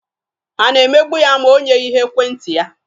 Ha ga-emegbu ya ma o nyeghị ha ekwentị ya?